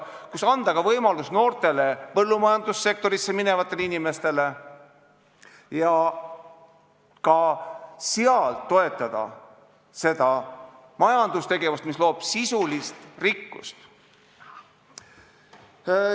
Kuidas ikkagi anda võimalus noortele põllumajandussektorisse minevatele inimestele ja toetada seda majandustegevust, mis loob sisulist rikkust?